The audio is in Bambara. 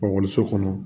kɔnɔ